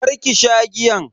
karki sha giyan.